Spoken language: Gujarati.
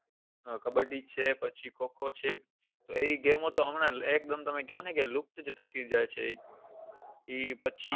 કબ્બડી છે પછી ખો ખો છે એ game ઓ તો તમે હમણાં કો ને કે લુપ્ત જ થતી જાય છે એ પછી